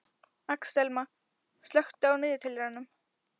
Axelma, slökktu á niðurteljaranum.